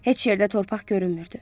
Heç yerdə torpaq görünmürdü.